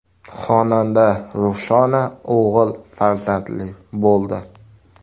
Xonanda Ruxshona o‘g‘il farzandli bo‘ldi.